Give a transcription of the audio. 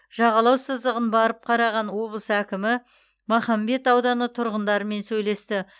жағалау сызығын барып қараған облыс әкімі махамбет ауданы тұрғындарымен сөйлесті